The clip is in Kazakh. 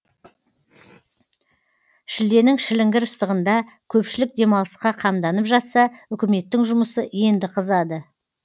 шілденің шіліңгір ыстығында көпшілік демалысқа қамданып жатса үкіметтің жұмысы енді қызады